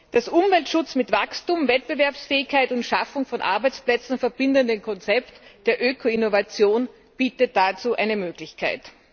Das Umweltschutz mit Wachstum, Wettbewerbsfähigkeit und Schaffung von Arbeitsplätzen verbindende Konzept der Öko Innovation bietet dazu eine Möglichkeit.